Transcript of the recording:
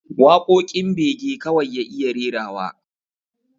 Waƙoƙin bege kawai ya iya rerawa